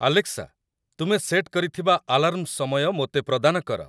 Alexa ତୁମେ set କରିଥିବା alarm ସମୟ ମୋତେ ପ୍ରଦାନ କର